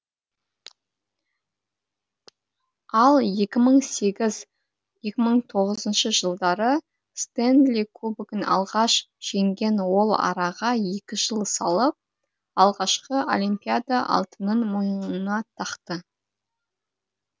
ал екі мың сегіз екі мың тоғызыншы жылдары стэнли кубогын алғаш жеңген ол араға екі жыл салып алғашқы олимпиада алтынын мойнына тақты